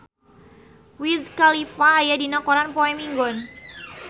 Wiz Khalifa aya dina koran poe Minggon